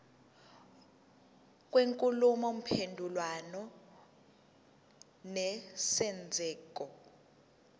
kwenkulumo mpendulwano nesenzeko